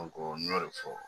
n y'o de fɔ